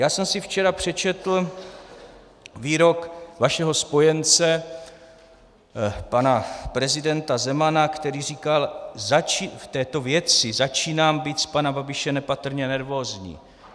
Já jsem si včera přečetl výrok vašeho spojence pana prezidenta Zemana, který říkal: v této věci začínám být z pana Babiše nepatrně nervózní.